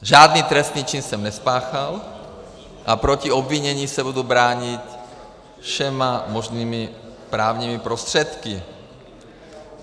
Žádný trestný čin jsem nespáchal a proti obvinění se budu bránit všemi možnými právními prostředky.